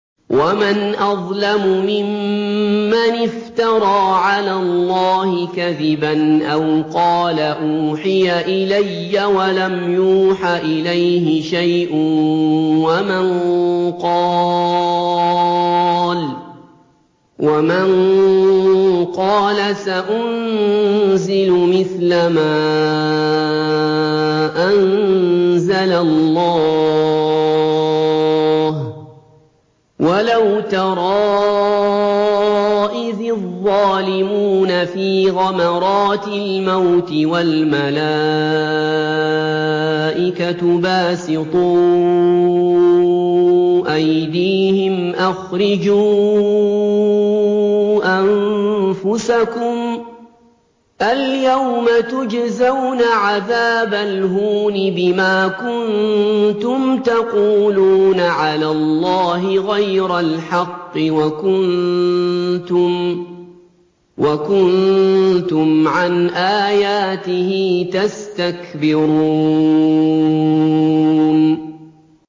وَمَنْ أَظْلَمُ مِمَّنِ افْتَرَىٰ عَلَى اللَّهِ كَذِبًا أَوْ قَالَ أُوحِيَ إِلَيَّ وَلَمْ يُوحَ إِلَيْهِ شَيْءٌ وَمَن قَالَ سَأُنزِلُ مِثْلَ مَا أَنزَلَ اللَّهُ ۗ وَلَوْ تَرَىٰ إِذِ الظَّالِمُونَ فِي غَمَرَاتِ الْمَوْتِ وَالْمَلَائِكَةُ بَاسِطُو أَيْدِيهِمْ أَخْرِجُوا أَنفُسَكُمُ ۖ الْيَوْمَ تُجْزَوْنَ عَذَابَ الْهُونِ بِمَا كُنتُمْ تَقُولُونَ عَلَى اللَّهِ غَيْرَ الْحَقِّ وَكُنتُمْ عَنْ آيَاتِهِ تَسْتَكْبِرُونَ